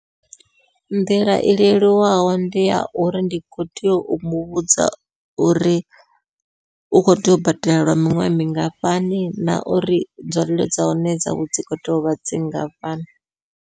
Nḓila i leluwaho ndi ya uri ndi kho tea u muvhudza uri u kho tea u badela lwa miṅwaha mingafhani, na uri nzwalelo dza hone dzawe dzi kho tea uvha dzi ngafhani.